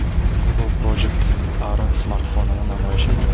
Google Project Ara smartfonini namoyish etdi .